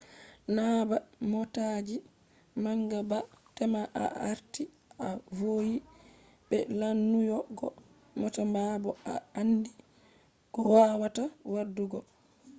na ba motaji manga ba tema a arti a vowi be lanyugo mota ma bo a andi ko wawata wadugo